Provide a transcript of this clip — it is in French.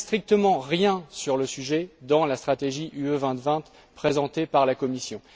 Or, il n'y a strictement rien sur le sujet dans la stratégie UE 2020 présentée par la Commission.